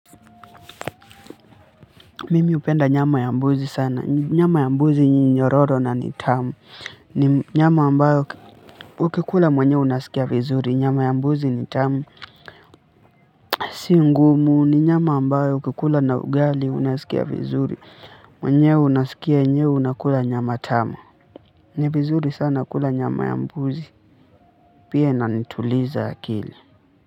Mimi hupenda nyama ya mbuzi sana. Nyama ya mbuzi ni nyororo na ni tamu. Ni nyama ambayo, ukikula mwenyewe unasikia vizuri. Nyama ya mbuzi ni tamu. Si ngumu, ni nyama ambayo ukikula na ugali, unasikia vizuri. Mwenyewe unasikia enyewe, unakula nyama tamu. Ni vizuri sana kula nyama ya mbuzi. Pia inanituliza akili.